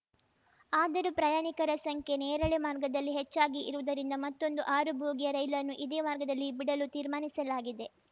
ಆದರೂ ಪ್ರಯಾಣಿಕರ ಸಂಖ್ಯೆ ನೇರಳೆ ಮಾರ್ಗದಲ್ಲಿ ಹೆಚ್ಚಾಗಿ ಇರುವುದರಿಂದ ಮತ್ತೊಂದು ಆರು ಬೋಗಿಯ ರೈಲನ್ನು ಇದೇ ಮಾರ್ಗದಲ್ಲಿ ಬಿಡಲು ತೀರ್ಮಾನಿಸಲಾಗಿದೆ